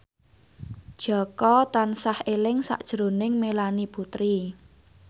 Jaka tansah eling sakjroning Melanie Putri